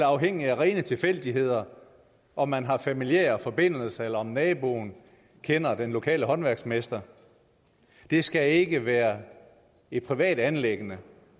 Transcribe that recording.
afhængigt af rene tilfældigheder om man har familiære forbindelser eller om naboen kender den lokale håndværksmester det skal ikke være et privat anliggende